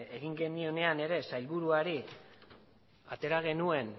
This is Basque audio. egin genionean ere sailburuari atera genuen